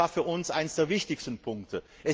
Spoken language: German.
Das war für uns einer der wichtigsten Punkte.